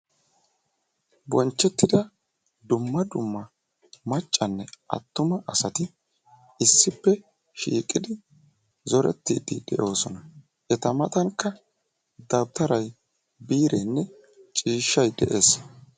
Bonchcettida dumma dumma maccanne attuma asati issippe shiiqqid zoretide de'oosona; eta matankka dawutaray biirenne ciishshay de'ees